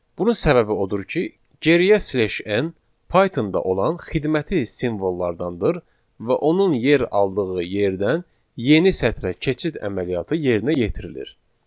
Bunun səbəbi odur ki, geriyə slash n Pythonda olan xidməti simvollardandır və onun yer aldığı yerdən yeni sətrə keçid əməliyyatı yerinə yetirilir.